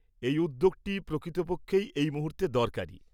এই উদ্যোগটি প্রকৃতপক্ষেই এই মুহূর্তে দরকারি।